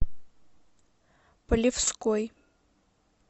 полевской